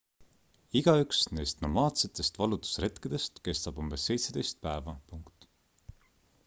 igaüks neist nomaadsetest vallutusretkedest kestab umbes 17 päeva